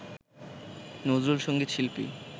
নজরুলসঙ্গীত শিল্পী